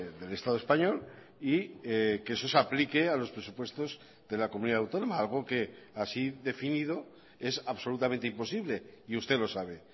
del estado español y que eso se aplique a los presupuestos de la comunidad autónoma algo que así definido es absolutamente imposible y usted lo sabe